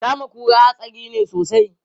Kama kura hatsari ne sosai.